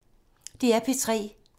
DR P3